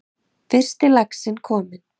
Fyrsti laxinn kominn